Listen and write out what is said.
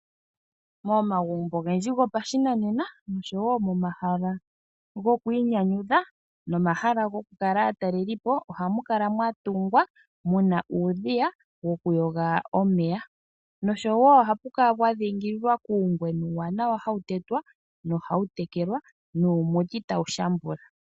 Momagumbo ogendji gopashinanena oshowo momahala gokwiinyanyudha, nomahala gokukala aatalelipo ohamu kala mwa tungwa muna uudhiya woku yoga omeya. Noshowo ohapu kala pwa dhingilwa kuungwena uuwanawa hawu tetwa nohawu tekelwa nuumuti tawu shambula.